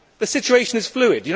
The situation is fluid.